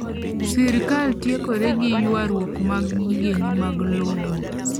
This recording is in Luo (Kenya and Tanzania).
Sirkal tiekore gi yuaruok mag gikeni mag lowo.